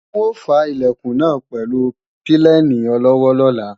N ò fá Ilẹ̀kùn náà pẹ̀lú pílènì olọ́wọ́ lọ́la